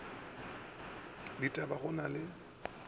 ditaba ga go na le